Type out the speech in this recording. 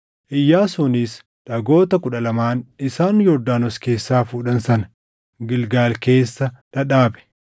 Iyyaasuunis dhagoota kudha lamaan isaan Yordaanos keessaa fuudhan sana Gilgaal keessa dhadhaabe.